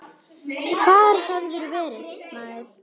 Hvar hefurðu verið, maður?